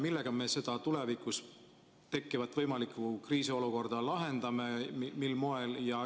Millega me seda tulevikus tekkida võivat kriisiolukorda lahendame, mil moel?